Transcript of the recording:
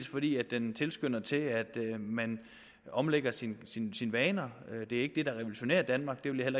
fordi den tilskynder til at man omlægger sine vaner det er ikke det der revolutionerer danmark det vil jeg